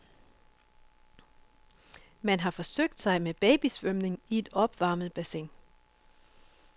Man har forsøgt sig med babysvømning i et opvarmet bassin.